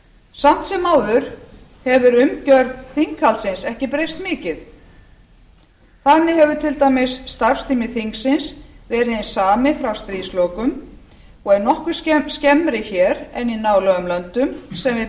samt sem áður hefur umgjörð þinghaldsins ekki breyst mikið þannig hefur til dæmis starfstími þingsins verið hinn sami frá stríðslokum og er nokkru skemmri hér en í nálægum löndum sem við